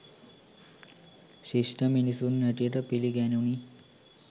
ශිෂ්ට මිනිසුන් හැටියට පිළිගැනුණි.